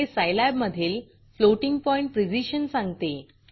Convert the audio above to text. हे Scilabसाईलॅब मधील फ्लोटिंग पॉइंट प्रिसिजन सांगते